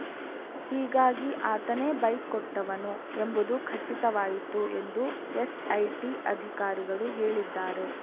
ಹೀಗಾಗಿ ಆತನೇ ಬೈಕ್‌ ಕೊಟ್ಟವನು ಎಂಬುದು ಖಚಿತವಾಯಿತು ಎಂದು ಎಸ್‌ಐಟಿ ಅಧಿಕಾರಿಗಳು ಹೇಳಿದ್ದಾರೆ